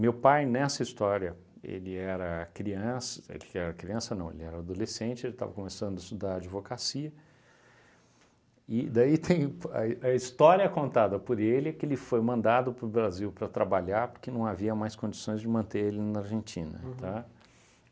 Meu pai, nessa história, ele era criança, ele era criança, não, ele era adolescente, ele estava começando a estudar advocacia, e daí tem a a história contada por ele que ele foi mandado para o Brasil para trabalhar porque não havia mais condições de manter ele na Argentina, tá?